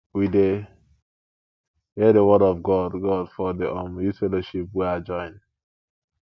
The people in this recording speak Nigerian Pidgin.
we dey hear di word of god god for di um youth fellowship wey i join